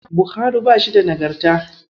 Bauhari bashi da Nagarta.